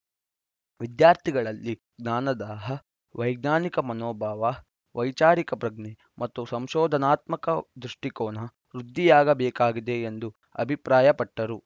ವಿದ್ಯಾರ್ಥಿಗಳಲ್ಲಿ ಜ್ಞಾನದಾಹ ವೈಜ್ಞಾನಿಕ ಮನೋಭಾವ ವೈಚಾರಿಕ ಪ್ರಜ್ಞೆ ಮತ್ತು ಸಂಶೋಧನಾತ್ಮಕ ದೃಷ್ಟಿಕೋನ ವೃದ್ದಿಯಾಗಬೇಕಾಗಿದೆ ಎಂದು ಅಭಿಪ್ರಾಯಪಟ್ಟರು